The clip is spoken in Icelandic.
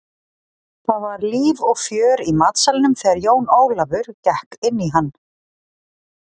Það var líf og fjör í matsalnum þegar Jón Ólafur gekk inn í hann.